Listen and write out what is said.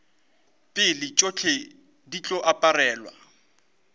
pele tšohle di tlo aparelwa